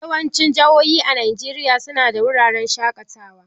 Yawancin jihohi a Najeriya su na da wuraren shaƙatawa.